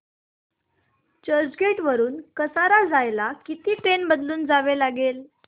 चर्चगेट वरून कसारा जायला किती ट्रेन बदलून जावे लागेल